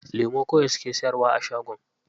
Lemu kawai suke siyarwa a shagon.